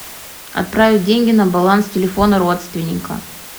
отправить деньги на баланс телефона родственника